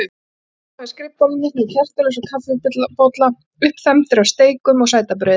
Ég sit hérna við skrifborðið mitt með kertaljós og kaffibolla, uppþembdur af steikum og sætabrauði.